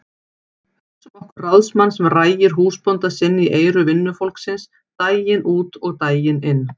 Hugsum okkur ráðsmann sem rægir húsbónda sinn í eyru vinnufólksins daginn út og daginn inn.